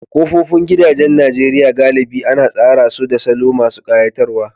Kofofin gidajen Najeriya galibi ana tsara su da salo masu ƙayatarwa